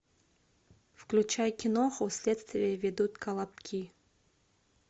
включай киноху следствие ведут колобки